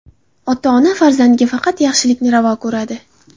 Ota-ona farzandiga faqat yaxshilikni ravo ko‘radi.